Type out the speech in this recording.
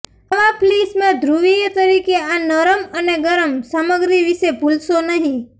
આવા ફ્લીસ માં ધ્રુવીય તરીકે આ નરમ અને ગરમ સામગ્રી વિશે ભૂલશો નહીં